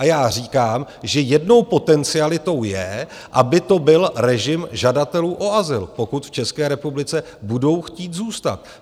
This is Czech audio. A já říkám, že jednou potencialitou je, aby to byl režim žadatelů o azyl, pokud v České republice budou chtít zůstat.